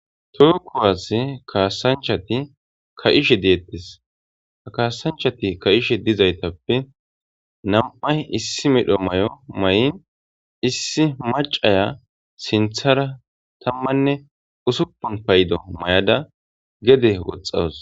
tookkowas kaasanchati ka7ishe deettes ha kaasanchati ka7ishe dizaytappe nam7ay issi medho may7o may7in issi macaya sinthara tammanne usuppun paydo may7ada gede woxxawus